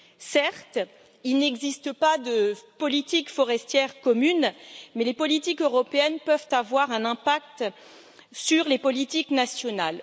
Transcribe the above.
Certes, il n'existe pas de politique forestière commune, mais les politiques européennes peuvent avoir un impact sur les politiques nationales.